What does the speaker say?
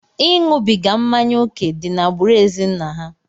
Ịṅụbiga mmanya ókè dị n'agbụrụ ezinna ha.